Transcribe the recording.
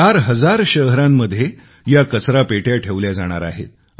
चार हजार शहरांमध्ये या कचरापेट्या ठेवल्या जाणार आहेत